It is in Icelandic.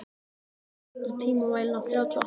Holgeir, stilltu tímamælinn á þrjátíu og átta mínútur.